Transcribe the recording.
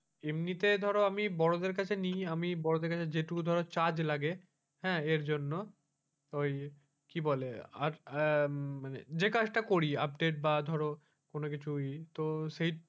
এমনিতে ধরো আমি বড়দের কাছে নি আমি বড়দের কাছে যেটুকু ধরো charge লাগে হ্যাঁ এর জন্য ওই কি বলে আর আহ মানে যে কাজটা করি আপডেট বা ধরো কোন কিছু করি ওই,